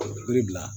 Yiri bila